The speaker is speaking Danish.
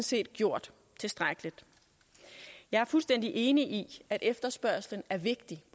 set gjort tilstrækkeligt jeg er fuldstændig enig i at efterspørgslen er vigtig